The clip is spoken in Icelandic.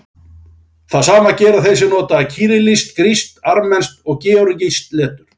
Það sama gera þeir sem nota kyrillískt, grískt, armenskt og georgískt letur.